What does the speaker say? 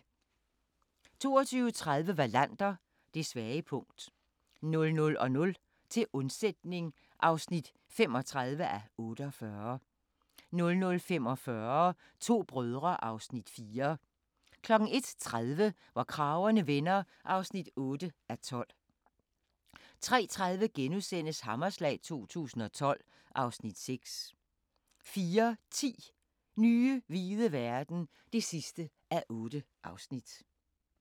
22:30: Wallander: Det svage punkt 00:00: Til undsætning (35:48) 00:45: To brødre (Afs. 4) 01:30: Hvor kragerne vender (8:12) 03:30: Hammerslag 2012 (Afs. 6)* 04:10: Nye hvide verden (8:8)